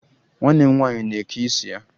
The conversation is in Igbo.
Nwanne m nwaanyị na-eke isi ya